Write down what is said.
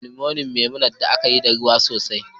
Moninmonin Memunant da aka yi yana da ruwa sosai